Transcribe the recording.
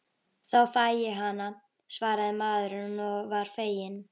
Þá fæ ég hana, svaraði maðurinn og var feginn.